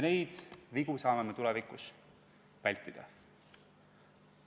Neid vigu me saame tulevikus vältida.